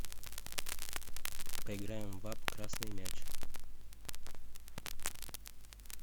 поиграем в апп красный мяч